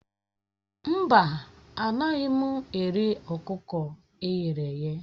Mba, anaghị m eri ọkụkọ e ghere eghe